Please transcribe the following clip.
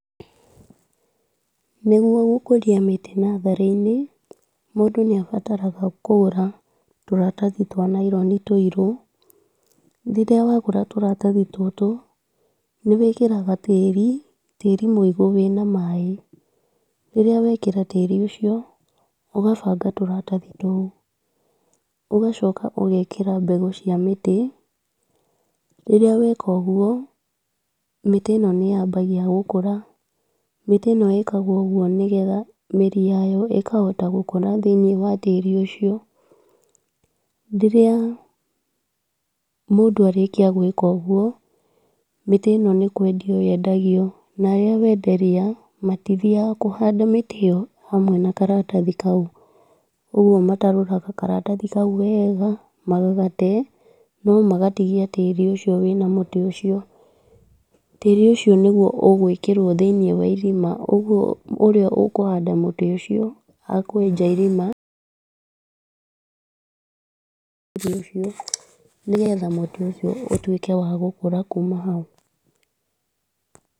Nĩgwo gũkũria mĩtĩ natharĩ-inĩ, mũndũ nĩ abataraga kũgũra tũratathi twa naironi tũirũ, rĩrĩa wagũra tũrathathi tũtũ nĩ wĩkĩraga tĩri, tĩri mũigũ wĩna maaĩ, rĩrĩa wekĩra tĩri ũcio ũgabanga tũratathi tũu, ũgacoka ũgekĩra mbegũ cia mĩtĩ, rĩrĩa weka ũgwo mĩtĩ ĩno nĩ yambagia gũkũra, mĩtĩ ĩno ĩkagwo ũgwo, nĩgetha mĩri yayo ĩkahota gũkũra thĩiniĩ wa tĩri ũcio, rĩrĩa mũndũ arĩkia gwĩka ũguo, mĩtĩ ĩno nĩ kwendio yendagio, na arĩa wenderia matithiaga kũhanda mĩtĩ ĩyo hamwe na karatathi kau, ũgwo matarũraga karatathi kau wega, magagate, no magatigia tĩri ũcio wĩna mũtĩ ũcio, tĩri ũcio nĩguo ũgwĩkĩrwo thĩiniĩ wa irima, ũguo ũrĩa ũkũhanda mũtĩ ũcio akwenja irima nĩgetha mũtĩ ũcio ũtuĩke wa gũkũra kuma hau.